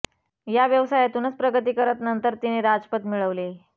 या व्यवसायातूनच प्रगती करत नंतर तिने राजपद मिळवले